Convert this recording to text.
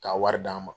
Ka wari d'an ma